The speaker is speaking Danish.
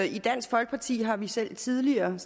i dansk folkeparti har vi selv tidligere